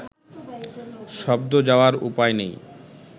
শব্দ যাওয়ার উপায় নেই